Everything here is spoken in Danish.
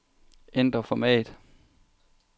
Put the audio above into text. Ændr format.